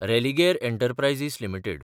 Religare enterprises limited